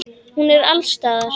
Hún er alls staðar.